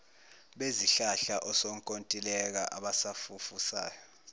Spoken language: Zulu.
bezihlahla osonkontileka abafufusayo